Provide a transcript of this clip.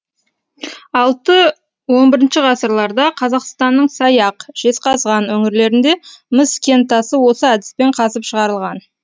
алты он бірінші ғасырларда қазақстанның саяқ жезқазған өңірлерінде мыс кентасы осы әдіспен қазып шығарылған